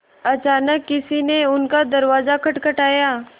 अचानक किसी ने उनका दरवाज़ा खटखटाया